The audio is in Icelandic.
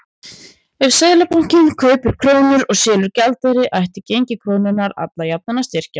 Ef Seðlabankinn kaupir krónur og selur gjaldeyri ætti gengi krónunnar alla jafna að styrkjast.